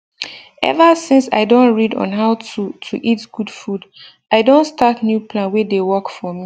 ever since i don read on how to to eat good food i don start new plan wey dey work for me